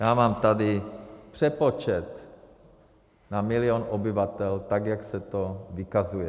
Já mám tady přepočet na milion obyvatel, tak jak se to vykazuje.